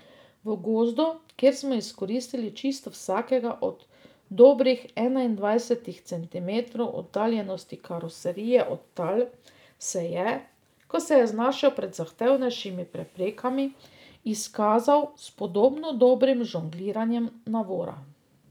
V gozdu, kjer smo izkoristili čisto vsakega od dobrih enaindvajsetih centimetrov oddaljenosti karoserije od tal, se je, ko se je znašel pred zahtevnejšimi preprekami, izkazal s podobno dobrim žongliranjem navora.